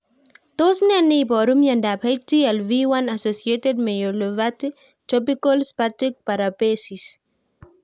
Tos nee neiparu miondop HTLV 1 associated myelopathy/tropical spastic paraparesis?